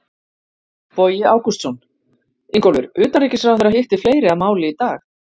Bogi Ágústsson: Ingólfur, utanríkisráðherra hitti fleiri að máli í dag?